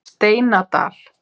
Steinadal